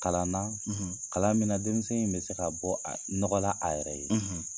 Kalan na, , kalan min na denmisɛn in bɛ se ka bɔ a nɔgɔla a yɛrɛ ye.